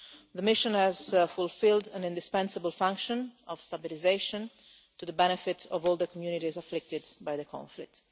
The mission has fulfilled an indispensable function of stabilisation, to the benefit of all the communities afflicted by the conflict.